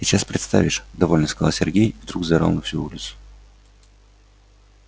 сейчас представишь довольно сказал сергей и вдруг заорал на всю улицу